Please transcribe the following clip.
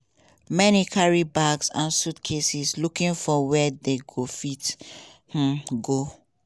many carry bags and suitcases looking for wia dem go fit um go.